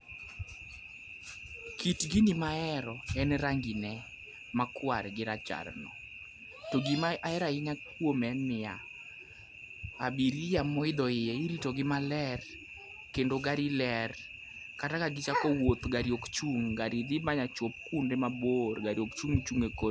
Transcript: Kit gini maero en rangine makwar gi racharno. To gimahero ahinya kuome en ni ya, abiria moidho iye iritogi maler kendo gari ler kata ka gichako wuoth gari ok chung' gari dhi machop kuonde mabor, gari ok chung' chung' e kor yo.